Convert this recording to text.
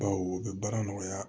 Baw o bɛ baara nɔgɔya